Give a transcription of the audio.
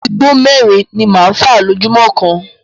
Igbó mẹ́rin ni máa fa lójúmọ́ kan.